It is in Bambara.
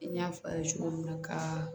N y'a fɔ aw ye cogo min na ka